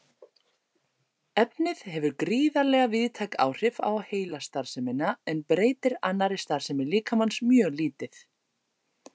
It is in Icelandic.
Efnið hefur gríðarlega víðtæk áhrif á heilastarfsemina en breytir annarri starfsemi líkamans mjög lítið.